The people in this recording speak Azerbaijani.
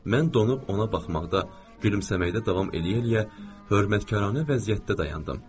Mən donub ona baxmaqda, gülümsəməkdə davam eləyə-eləyə hörmətkarə vəziyyətdə dayandım.